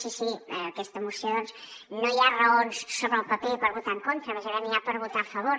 sí sí en aquesta moció no hi ha raons sobre el paper per votar hi en contra més aviat n’hi ha per votar hi a favor